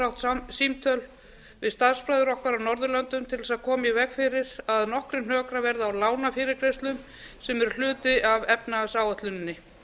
átt símtöl við starfsbræður okkar á norðurlöndum til að koma í veg fyrir að nokkrir hnökrar verði á lánafyrirgreiðslum sem eru hluti af efnahagsáætluninni